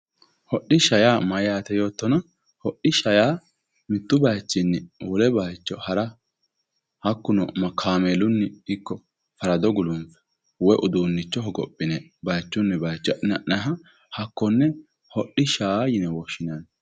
hodhishsha yaa mayyaate yoottona ,hodhishsha yaa mittu bayiichinni wole bayiicho hara hakkuno kaameelunni ikko farado guluffe woy uduunnicho hogophine bayiichunni bayiicho adhi'ne ha'nayiiha hakkonne hodhishsha yine woshshinanni.